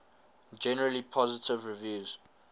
generally positive reviews